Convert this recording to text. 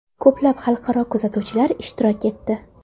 Ko‘plab xalqaro kuzatuvchilar ishtirok etdi.